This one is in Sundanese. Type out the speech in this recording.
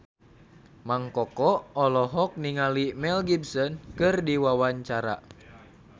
Mang Koko olohok ningali Mel Gibson keur diwawancara